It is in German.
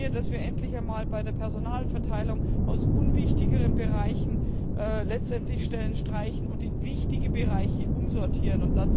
Ich wünsche mir, dass wir endlich einmal bei der Personalverteilung in unwichtigeren Bereichen Stellen streichen und in wichtige Bereiche umsortieren.